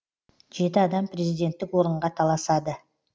жеті адам президенттік орынға таласады